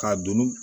K'a don